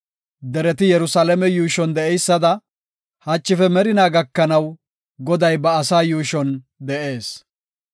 Dereti Yerusalaame yuushon de7eysada, hachife merinaa gakanaw, Goday ba asaa yuushon de7ees.